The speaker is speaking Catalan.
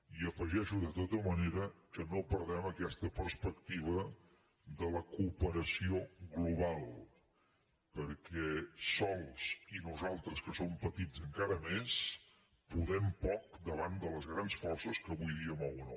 i afegeixo de tota manera que no perdem aquesta perspectiva de la cooperació global perquè sols i nosaltres que som petits encara més podem poc davant de les grans forces que avui dia mouen el món